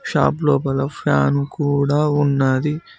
Shop లోపల fan కూడా ఉన్నది.